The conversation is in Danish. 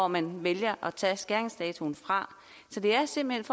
man vælger at tage som skæringsdato så det er simpelt